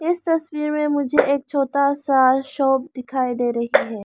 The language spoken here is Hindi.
इस तस्वीर में मुझे एक छोटा सा शॉप दिखाई दे रही है।